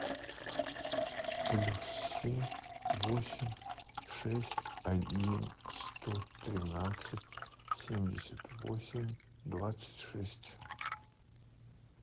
плюс семь восемь шесть один сто тринадцать семьдесят восемь двадцать шесть